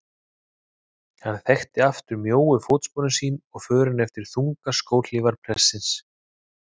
Hann þekkti aftur mjóu fótsporin sín og förin eftir þungar skóhlífar prestsins.